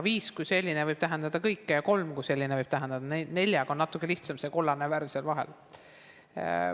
Viis kui selline võib tähendada kõike ja kolm kui selline võib tähendada kõike, neljaga on natukene lihtsam, see on see kollane värv seal vahel.